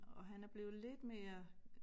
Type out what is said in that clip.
Og han er blevet lidt mere